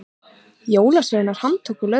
Jólasveinar handtóku lögregluna